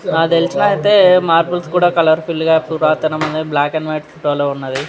హా నాకు త్య్లిసి కూడా మనకు మర్బ్లె ఉనది మనకు ఉనది --